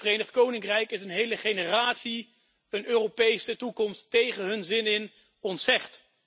In het Verenigd Koninkrijk is een hele generatie een Europese toekomst tegen hun zin ontzegd.